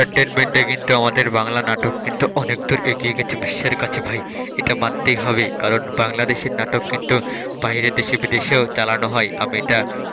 Entertainment এ কিন্তু আমাদের বাংলা নাটক কিন্তু অনেকদূর এগিয়ে গেছে বিশ্বের কাছে ভাই এটা মানতেই হবে কারণ বাংলা দেশের নাটক কিন্তু বাইরের দেশে বিদেশেও চালানো হয় আমি এটা,